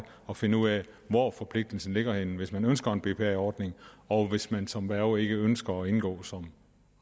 at finde ud af hvor forpligtelsen ligger henne hvis man ønsker en bpa ordning og hvis man som værge ikke ønsker at indgå som